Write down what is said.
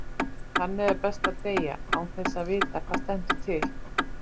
Þannig er best að deyja, án þess að vita hvað stendur til.